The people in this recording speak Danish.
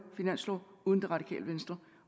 finanslov uden det radikale venstre